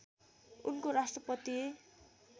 उनको राष्ट्रपतीय